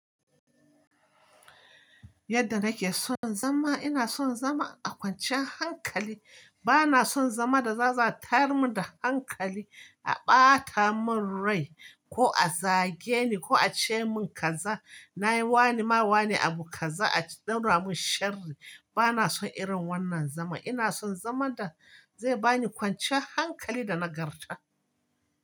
Yadda nake son zama, ina son zama a kwancin hankali. Bana son zama da za a zo atayar mun da hankali, a ɓata mun rai ko a zage ni ko a ce mun kaza. Na yi wani ma wani abu kaza a ɗaura mun sharri. Bana son irin wannan zama. Ina son zaman da zai bani kwanciyan hankali da nagarta.